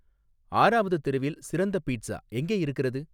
ஆறாவது தெருவில் சிறந்த பீட்சா எங்கே இருக்கிறது